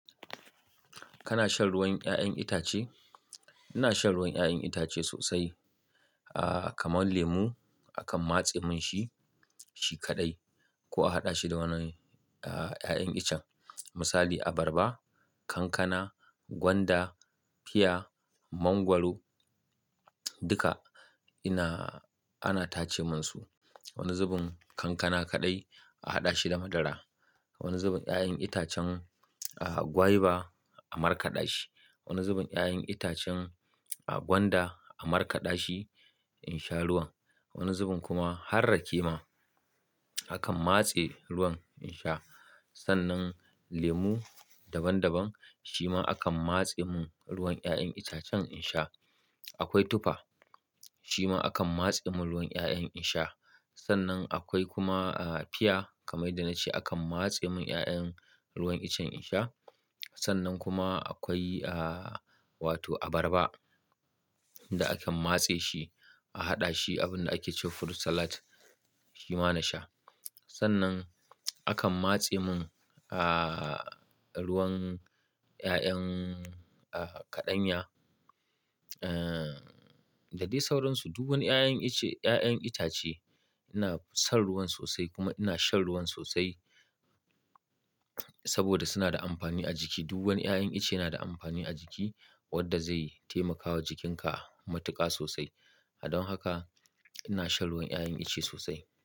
Kana shan ruwan 'ya'yan itace? Ina shan ruwan 'ya'yan itace sosai. Ah, kamar lemo akan matse mun shi, shi kaɗai ko a haɗa shi da wani, ah, 'ya'yan iccen. Misali abarba, kankana, gwanda, fia, mangwaro duka ina-- ana tace mun su. Wani zubin kankana kaɗai a haɗa shi da madara. Wani zubin 'ya'yan itacen, ah, guava a markaɗa shi. Wani zubin 'ya'yan itacen, ah, gwanda a markaɗa shi in sha ruwan. Wani zubin kuma har rake ma, akan matse ruwan in sha. Sannan lemu daban daban shi ma akan matse mun ruwan 'ya'yan itacen in sha. Akwai tufa shi ma akan matse mun ruwan 'ya'yan in sha. Sannan akwai kuma, ah, fia kamar dai na ce akan matse mun 'ya'yan ruwan iccen in sha. Sannan kuma akwai, ah, wato abarba da akan matse shi a haɗa shi abunda ake ce fruit salad shi ma na sha. Sannan akan matse mun, ah, ruwan 'ya'yan, ah, kaɗanya, ah, da dai sauransu. Duk wan 'ya'yan icce-- 'ya'yan itace ina son ruwan sosai kuma ina shan ruwan sosai saboda suna da amfani a jiki. Duk wan 'ya'yan ice yana da amfani a jiki wanda zai taimakawa jikinka matuƙa sosai. Don haka ina shan ruwan 'ya'yan itace sosai.